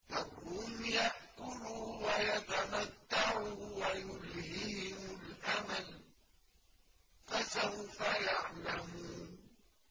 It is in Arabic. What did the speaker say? ذَرْهُمْ يَأْكُلُوا وَيَتَمَتَّعُوا وَيُلْهِهِمُ الْأَمَلُ ۖ فَسَوْفَ يَعْلَمُونَ